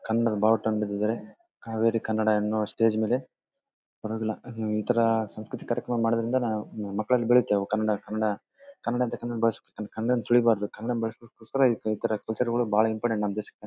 ಕನ್ನಡ ಬಾವುಟ ಇಟ್ಟಿದ್ದಾರೆ. ಕಾವೇರಿ ಕನ್ನಡ ಎನ್ನುವ ಸ್ಟೇಜ್ ಮೇಲೆ ಬರೋದಿಲ್ಲ. ಈ ತರ ಸಾಂಸ್ಕೃತಿಕ ಕಾರ್ಯಕ್ರಮ ಮಾಡೋದ್ರಿಂದ ಮಕ್ಕಳಲ್ಲಿ ಬೆಳಿತಾವು ಕನ್ನಡ ಕನ್ನಡ ಕನ್ನಡನೆ ಬೆಳೆಸಬೇಕು. ಕನ್ನಡಾನ ತುಳಿಬಾರ್ದು ಕನ್ನಡಾನ ಬೆಳೆಸಕ್ಕೋಸ್ಕರ ಈ ತರ ಕೇಳಾಗಲು ಭಾಳ ಇಂಪಾರ್ಟೆಂಟ್ ನಮ್ಮ್ ದೇಶಕ್ಕೆ.